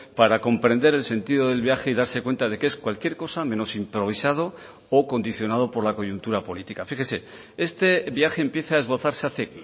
para comprender el sentido del viaje y darse cuenta de que es cualquier cosa menos improvisado o condicionado por la coyuntura política fíjese este viaje empieza a esbozarse hace